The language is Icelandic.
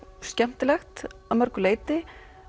skemmtilegt að mörgu leyti